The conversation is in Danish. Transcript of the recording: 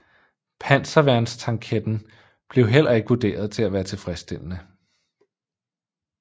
Panserværnstanketten blev heller ikke vurderet til at være tilfredsstillende